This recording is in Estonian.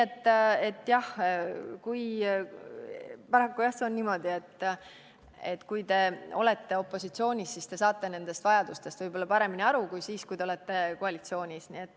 Nii et jah, paraku on niimoodi, et kui te olete opositsioonis, siis te saate sellest vajadusest võib-olla paremini aru kui siis, kui te olete koalitsioonis.